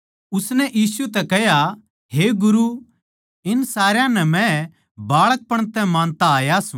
उसनै यीशु तै कह्या हे गुरू इन सारया नै मै बाळकपण तै मानता आऊँ सूं